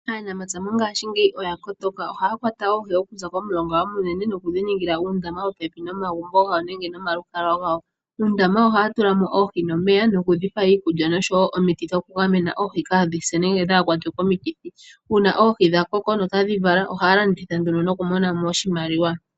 Aanamapya mongashingeyi oyakotoka ohaya kwata oohi okuza komulonga omunene, noku dhi ningila uundama popepi nomagumbo gawo nenge nomalukalwa gawo. undama ohaya tula mo oohi noomeya no ku dhi pa iikulya nomiiti dhoku dhi gamena oohi kadhise nenge kadhi kwatwe komikithi. Una oohi dha koko dho otadhi vala ohaya landitha noku mona mo oshimaliwa.